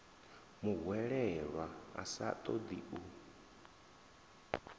muhwelelwa a sa ṱoḓi u